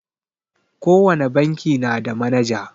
Ko wane banki na da manaja.